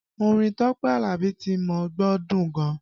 Orin Tọ́pẹ́ Alabi tí mo gbọ́ dùn gan